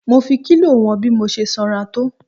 Mo fi kílò wọn bí mo ṣe sanra tó.